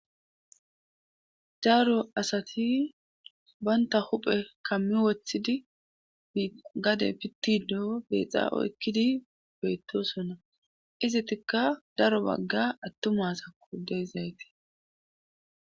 Daaro asati banta huphe kammi woththidi gade pitti doo beexa oykkidi beyttosona izitikka daro bagga attumasakko deezayti.